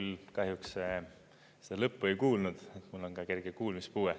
Ma küll kahjuks seda lõppu ei kuulnud, mul on kerge kuulmispuue.